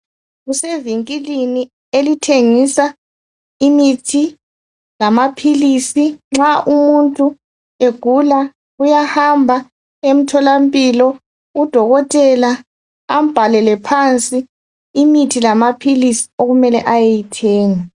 Kusevinkilini elithengisa imithi lamaphilisi. Nxa umuntu egula uyahamba emtholampilo, udokotela ambhalele phansi imithi lamaphilisi okumele ayeyithenga.